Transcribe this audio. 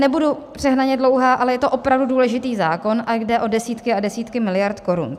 Nebudu přehnaně dlouhá, ale je to opravdu důležitý zákon a jde o desítky a desítky miliard korun.